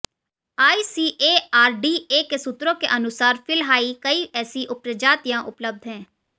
ICARDA के सूत्रों के अनुसार फिलहाइ कई ऐसी प्रजातियां उपलब्ध हैं